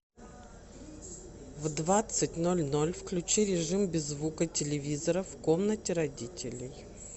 в двадцать ноль ноль включи режим без звука телевизора в комнате родителей